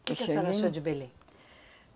Que que a senhora achou de Belém?